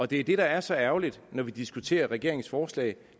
det der er så ærgerligt når vi diskuterer regeringens forslag